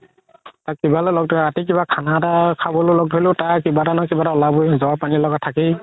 ৰাতি কিবা খানা এটা খাবলৈ লগ ধৰিলো তাৰ কিবা নহয় কিবা এটা উলাবৈ জৰ পানি লাগা থাকেই